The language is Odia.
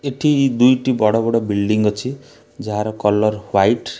ଏଠି ଦୁଇଟି ବଡ଼ ବଡ଼ ଵିଲ୍ଡିଂ ଅଛି ଯାହାର କଲର ହ୍ଵାଇଟ ।